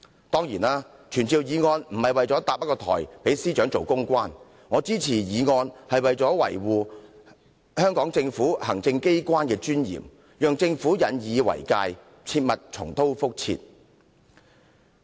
當然，傳召議案不是要搭台讓司長充當公關，我支持議案是為了維護香港行政機關的尊嚴，讓政府引以為戒，避免重蹈覆轍。